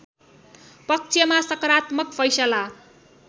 पक्षमा सकारात्मक फैसला